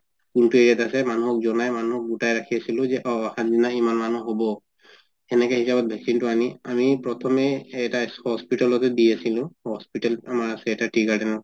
আছে মানুহ জনাই মানুহ গোটাই ৰাখিছিলো যে অ দিনা ইমান মানুহ হব সেনেকে হিচাপত vaccine তো আনি প্ৰথমে এটা hospital তে দি আছিলো hospital এটা আচে আমাৰ tea garden ত